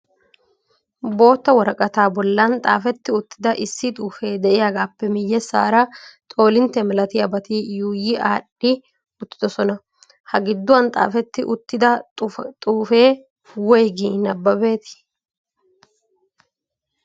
bootta woraqata bollan xaafetti uttida issi xuufe de'iyaagappe miyeesara xoolintte malatiyaabati yuuyyi aadhdhi uttidoosona. ha gidduwan xaafeti uttida xuufe woyggi nabbabetii?